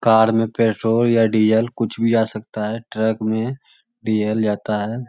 कार में पेट्रोल या डीजल कुछ भी जा सकता है ट्रक में डीजल जाता है।